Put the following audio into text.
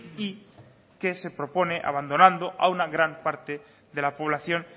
y que se propone abandonando a una gran parte de la población